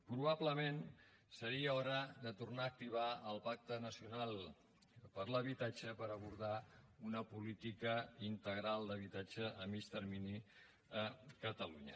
probablement seria hora de tornar a activar el pacte nacional per l’habitatge per abordar una política integral d’habitatge a mitjà termini a catalunya